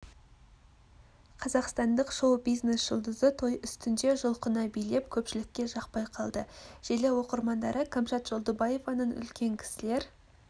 қазақстандық шоу-бизнес жұлдызы той үстінде жұлқына билеп көпшілікке жақпай қалды желі оқырмандары кәмшат жолдыбаеваның үлкен кісілер